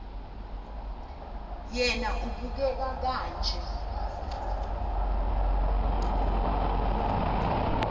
yena ubeka kanje